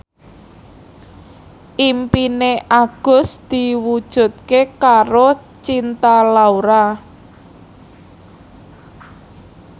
impine Agus diwujudke karo Cinta Laura